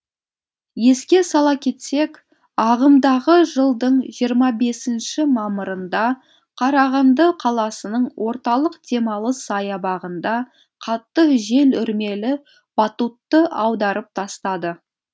еске сала кетсек ағымдағы жылдың жиырма бесінші мамырында қарағанды қаласының орталық демалыс саябағында қатты жел үрмелі батутты аударып тастады